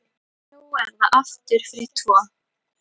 Nú er það aftur fyrir tvo.